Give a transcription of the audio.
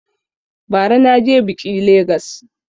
Ba ra na je biƙi Legas